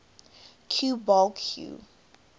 cue ball cue